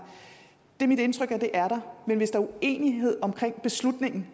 det er mit indtryk at det er der men hvis der er uenighed om beslutningen